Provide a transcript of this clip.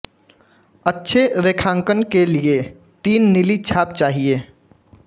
अच्छे रेखांकन के लिए तीन नीली छाप चाहिए